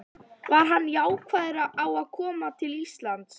Var hann jákvæður á að koma til Íslands?